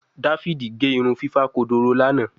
Davidi ge irun fifa kodoro Lana